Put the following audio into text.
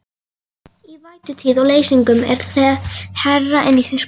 Í vætutíð og leysingum er það hærra en í þurrkum.